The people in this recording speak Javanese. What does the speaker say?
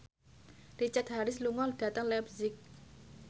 Richard Harris lunga dhateng leipzig